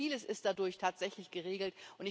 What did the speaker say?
Also vieles ist dadurch tatsächlich geregelt.